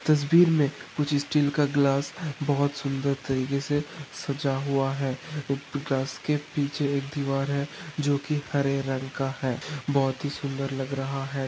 तस्वीर मे कुच्छ स्टील का ग्लास बहोत सुंदर तरीकेसे सजा हुआ है ग्लास के पिच्छे एक दीवार है जोकि हरे रंग का है बहोत ही सुंदर लग रहा है।